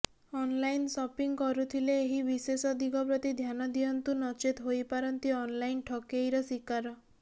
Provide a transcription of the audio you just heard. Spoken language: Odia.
ଅନଲାଇନ୍ ସପିଂ କରୁଥିଲେ ଏହି ବିଶେଷ ଦିଗ ପ୍ରତି ଧ୍ୟାନ ଦିଅନ୍ତୁ ନଚେତ୍ ହୋଇପାରନ୍ତି ଅନଲାଇନ୍ ଠକେଇର ଶିକାର